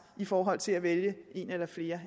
i forhold til at vælge et eller flere